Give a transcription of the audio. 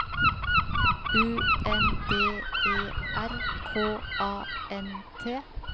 U N D E R K A N T